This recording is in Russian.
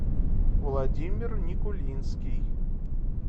владимир никулинский